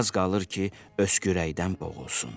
Az qalır ki, öskürəkdən boğulsun.